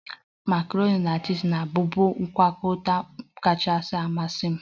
Makaroni na chiz na-abụbu ngwakọta kachasị amasị m